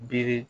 Biri